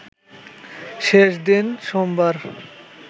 শেষ দিন সোমবার